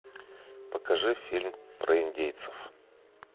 покажи фильм про индейцев